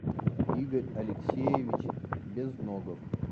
игорь алексеевич безногов